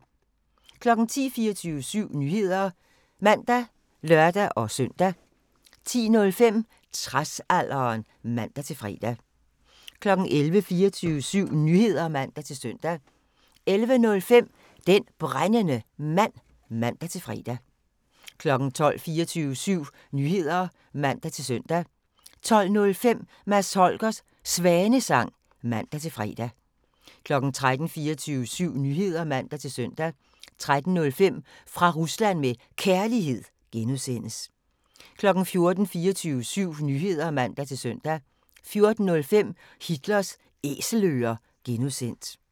10:00: 24syv Nyheder (man og lør-søn) 10:05: Tradsalderen (man-fre) 11:00: 24syv Nyheder (man-søn) 11:05: Den Brændende Mand (man-fre) 12:00: 24syv Nyheder (man-søn) 12:05: Mads Holgers Svanesang (man-fre) 13:00: 24syv Nyheder (man-søn) 13:05: Fra Rusland med Kærlighed (G) 14:00: 24syv Nyheder (man-søn) 14:05: Hitlers Æselører (G)